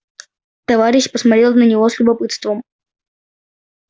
товарищ посмотрел на него с любопытством